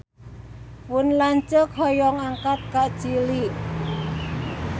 Pun lanceuk hoyong angkat ka Chili